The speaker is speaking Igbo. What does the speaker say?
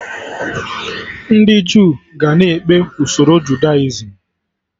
Ndị Jew ga na-ekpe usoro Judaism